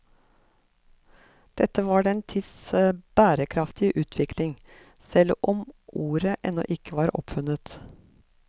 Dette var den tids bærekraftige utvikling, selv om ordet ennå ikke var oppfunnet.